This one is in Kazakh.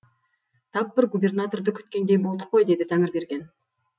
тап бір губернаторды күткендей болдық қой деді тәңірберген